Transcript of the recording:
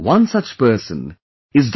One such person is Dr